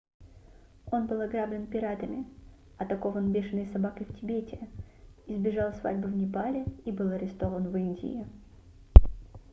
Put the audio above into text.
он был ограблен пиратами атакован бешеной собакой в тибете избежал свадьбы в непале и был арестован в индии